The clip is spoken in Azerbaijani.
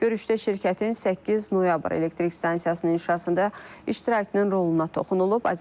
Görüşdə şirkətin 8 noyabr elektrik stansiyasının inşasında iştirakının roluna toxunulub,